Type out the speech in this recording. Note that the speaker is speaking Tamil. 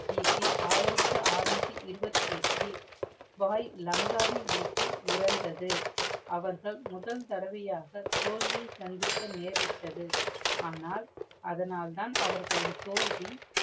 கி. பி. ஆயிரத்தி ஆறநூற்றி இருபத்தி ஏட்டு, வாய் லங்காவின் விட்டில் இறந்தது. அவர்கள் முதல் தரவையாக தோல்வி சந்திக்க நேரிட்டது. ஆனால், அதனால் தான் அவர்களின் தோல்வி